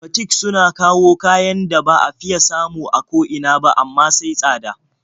Batik suna kawo kayan da ba a fiya samu a ko ina ba, amma sai tsada.